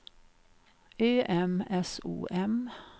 Ö M S O M